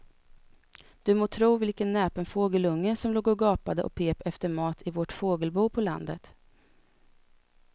Du må tro vilken näpen fågelunge som låg och gapade och pep efter mat i vårt fågelbo på landet.